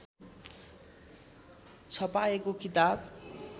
छपाएको किताब